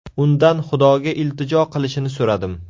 Undan Xudoga iltijo qilishini so‘radim.